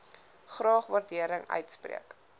graag waardering uitspreek